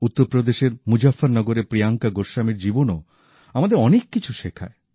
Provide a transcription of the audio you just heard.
উত্তরপ্রদেশের মুজফফরনগরের প্রিয়াঙ্কা গোস্বামীর জীবনও আমাদের অনেক কিছু শেখায়